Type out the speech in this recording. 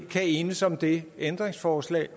kan enes om det ændringsforslag